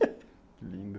Que lindo.